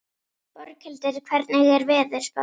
Borghildur, hvernig er veðurspáin?